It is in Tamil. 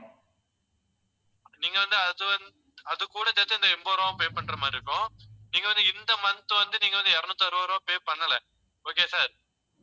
நீங்க வந்து அதும் அது கூட சேர்த்து இந்த எண்பது ரூபாயும் pay பண்ற மாதிரி இருக்கும். நீங்க வந்து இந்த month வந்து நீங்க வந்து இருநூத்தி அறுபது ரூபாய் pay பண்ணல. okay sir